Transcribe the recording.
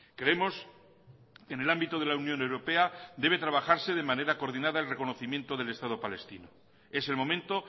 creemos en el ámbito de la unión europea debe trabajarse de manera coordinada al reconocimiento del estado palestino es el momento